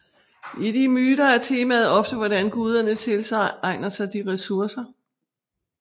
I de myter er temaet ofte hvordan guderne tilegner sig de ressourcer